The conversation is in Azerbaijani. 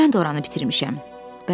Vaxtilə mən də oranı bitirmişəm.